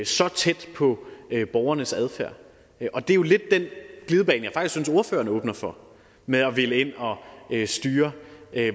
så tæt på borgernes adfærd og det er jo lidt den glidebane jeg faktisk synes ordføreren åbner for med at ville ind og styre